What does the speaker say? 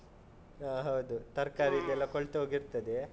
ಹ ಹೌದು. ತರ್ಕಾರಿ ಕೊಳ್ತ್ ಹೋಗಿರ್ತದೆ.